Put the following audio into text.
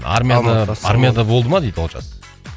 армияда армияда болды ма дейді олжас